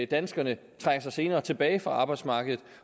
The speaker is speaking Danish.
danskerne trækker sig senere tilbage fra arbejdsmarkedet